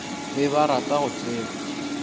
be ba rata go tseba